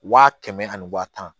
Wa kɛmɛ ani waa tan